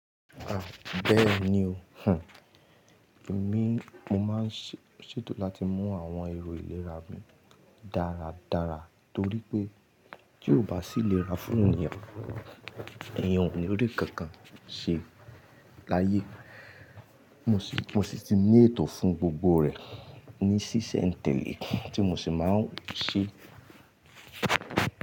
À, bẹ́ẹ̀ ni o, hun. Èmi, mo máa ń ṣètò láti mú àwọn èrò ìlera mi dáradára torí pé tí ó bá sì lera fún èyàn, èyàn ò ní rí kankan ṣe láyé. Mo sì ti ní ètò fún gbogbo rẹ ní ṣíṣe ń tẹle tí mo sì máa ń ṣe.